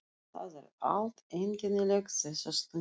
Það er allt einkennilegt þessa stundina.